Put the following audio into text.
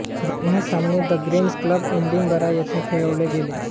दोन्ही सामने the Grange Club Edinburgh येथे खेळवले गेले